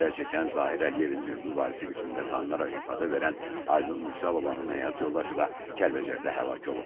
Zərərçəkən Zahir Əliyevin hüquqi varisi qismində tanınaraq ifadə verən Aynur Mürsəlovanın həyat yoldaşı da Kəlbəcərdə həlak olub.